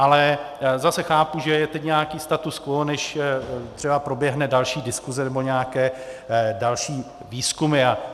Ale zase chápu, že je teď nějaký status quo, než třeba proběhne další diskuze nebo nějaké další výzkumy.